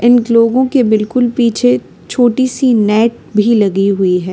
इन लोगों के बिल्कुल पीछे छोटी सी नेट भी लगी हुई है।